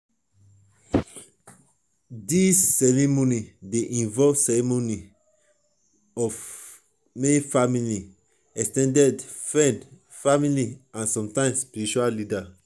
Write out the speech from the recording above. these ceremonies dey involve ceremonies dey involve di main family ex ten ded family friends and sometimes spiritual leaders